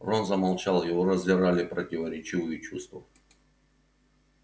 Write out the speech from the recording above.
рон замолчал его раздирали противоречивые чувства